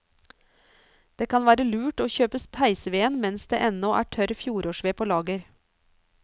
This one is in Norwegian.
Det kan være lurt å kjøpe peisveden mens det ennå er tørr fjorårsved på lager.